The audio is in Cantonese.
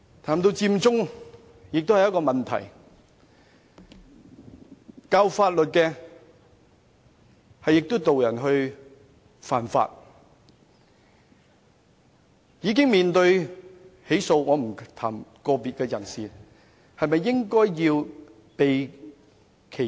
談到佔中，這也是一個問題，教授法律的人卻導人犯法，已經面對起訴——我不想談論個別人士——他們是否應當避嫌？